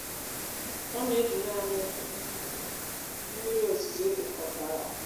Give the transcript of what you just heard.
ọ na-eji naanị mmiri ozuzo e kpokọtara.